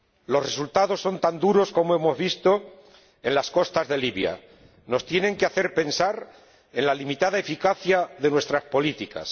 Los resultados son tan duros como hemos visto en las costas de Libia y nos tienen que hacer pensar en la limitada eficacia de nuestras políticas.